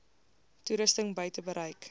toerusting buite bereik